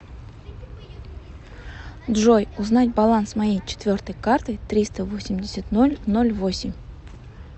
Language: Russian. джой узнать баланс моей четвертой карты триста восемьдесят ноль ноль восемь